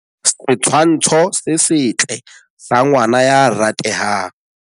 Setshwntsho se setle sa ngwana ya ratehang.